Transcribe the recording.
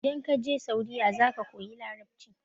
idan ka je saudiya za ka koyi larabci